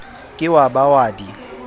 ke wa ba wa di